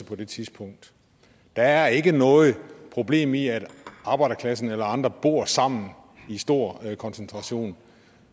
på det tidspunkt der er ikke noget problem i at arbejderklassen eller andre bor sammen i stor koncentration